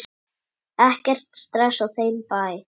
Ekkert stress á þeim bæ.